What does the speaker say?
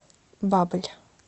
баболь